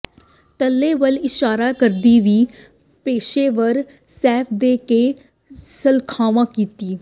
ਤਲੇ ਵੱਲ ਇਸ਼ਾਰਾ ਕਰਦੀ ਵੀ ਪੇਸ਼ੇਵਰ ਸ਼ੈੱਫ ਦੇ ਕੇ ਸ਼ਲਾਘਾ ਕੀਤੀ